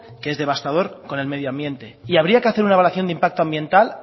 que es devastador con el medio ambiente y habría que hacer una evaluación de impacto ambiental